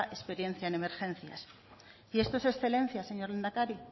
experiencia en emergencias esto es excelencia señor lehendakari